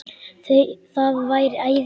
Það væri æði